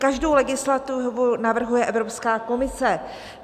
Každou legislativu navrhuje Evropská komise.